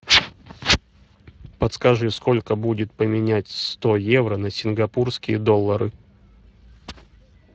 подскажи сколько будет поменять сто евро на сингапурские доллары